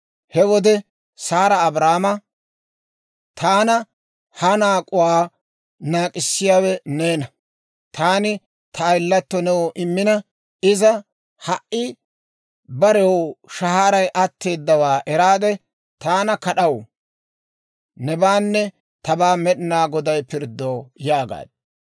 He wode Saara Abraama, «Taana ha naak'uwaa naak'k'issiyaawe neena; taani ta ayilatto new immina, iza ha"i barew shahaaray atteeddawaa eraade, taana kad'aw. Nebaanne tabaa Med'inaa Goday pirddo» yaagaaddu.